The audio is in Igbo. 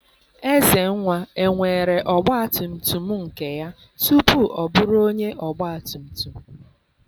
Ezenwa enwere ọgba tum tum nke ya tupu ọ bụrụ onye ọgba tum tum?